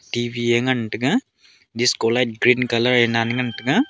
T_V e ngan taiga disco light green colour ye nan ngan taiga.